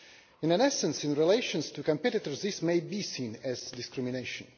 In essence, in relation to competitors this may be seen as discrimination.